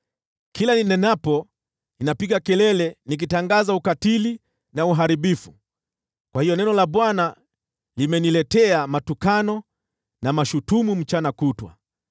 Kila ninenapo, ninapiga kelele nikitangaza ukatili na uharibifu. Kwa hiyo neno la Bwana limeniletea matukano na mashutumu mchana kutwa.